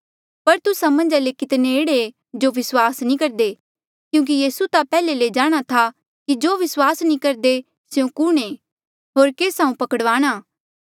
पर तुस्सा मन्झा ले कितने एह्ड़े ऐें जो विस्वास नी करदे क्यूंकि यीसू ता पैहले ले जाणहां था कि जो विस्वास नी करदे स्यों कुणहें होर केस हांऊँ पकड़ वाणा